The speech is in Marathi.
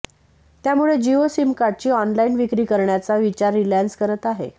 त्यामुळे जिओ सिमकार्डची ऑनलाईन विक्री करण्याचा विचार रिलायन्स करत आहे